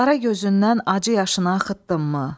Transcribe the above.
Qara gözündən acı yaşını axıtdınmı?